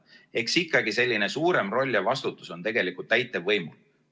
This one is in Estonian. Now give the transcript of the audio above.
Eks ikkagi selline suurem roll ja vastutus on täitevvõimul.